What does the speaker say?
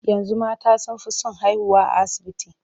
Yanzu mata sun fi son haihuwa a asibiti.